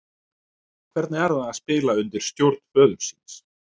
Hvernig er það að spila undir stjórn föður síns?